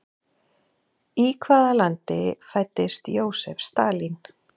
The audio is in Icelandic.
Í hvaða landi fæddist Jósef Stalín?